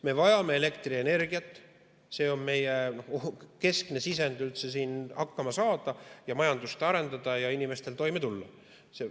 Me vajame elektrienergiat, see on meie keskne sisend, et üldse siin hakkama saada ja majandust arendada ning et inimesed toime tuleksid.